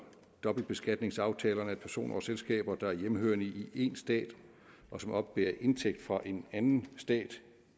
dobbeltbeskatningsaftalerne at personer og selskaber der er hjemmehørende i en stat og som oppebærer indtægt fra en anden stat